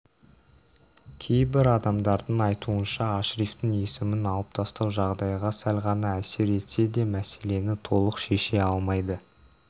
кейбір адамдардың айтуынша ашрифтің есімін алып тастау жағдайға сәл ғана әсер етсе де мәселені толық шеше алмайды